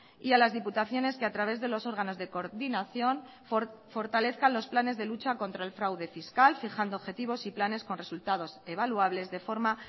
y a las diputaciones que a través de los órganos de coordinación fortalezcan los planes de lucha contra el fraude fiscal fijando objetivos y planes con resultados evaluables de forma